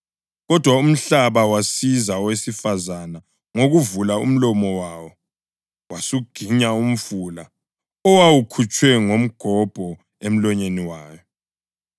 Kodwa umhlaba wasiza owesifazane ngokuvula umlomo wawo wasuginya umfula owawukhutshwe ngumgobho emlonyeni wawo.